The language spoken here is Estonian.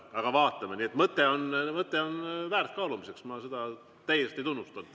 Aga vaatame, mõte on väärt kaalumist, ma täiesti tunnustan.